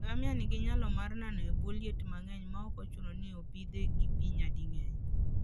Ngamia nigi nyalo mar nano e bwo liet mang'eny maok ochuno ni opidhe gi pi nyading'eny.